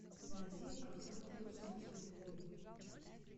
найди авто плюс на телевизоре